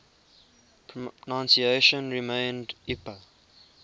pronunciation remained ipa